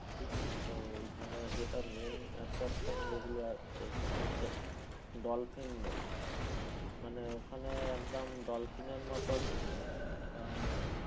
ঠিক আছে তো ওইখানে যেটা main attraction যেগুলো আছে সেটা হচ্ছে dolphin নদী মানে ওখানে যেমন dolphin এর মতন আহ